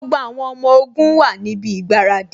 Gbogbo àwọn ọmọ ogun wá níbi ìgbáradì